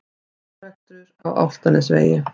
Árekstur á Álftanesvegi